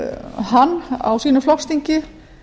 hann á sínu flokksþingi